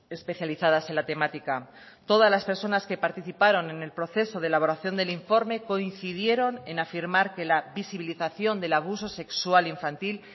especializadas en la temática todas las personas que participaron en el proceso de elaboración del informe coincidieron en afirmar que la visibilización del abuso sexual infantil